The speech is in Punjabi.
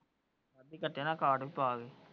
ਜੇ ਕਾਟੇ ਨਾ ਕਾਰਡ।